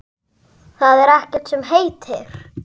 Það er ekkert sem heitir!